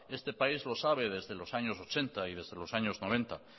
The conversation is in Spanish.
este país lo sabe desde los años ochenta y desde los años noventa